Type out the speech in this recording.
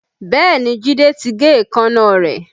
Bẹ́ẹ̀ni Jide ti gé èékánná rẹ̀